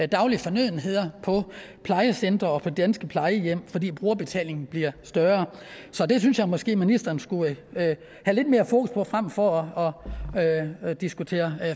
daglige fornødenheder på plejecentre og på de danske plejehjem fordi brugerbetalingen bliver større så det synes jeg måske ministeren skulle have lidt mere fokus på frem for at diskutere